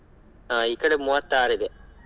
ಹಾ ಈ ಕಡೆ ಮೂವತ್ತಾರಿದೆ.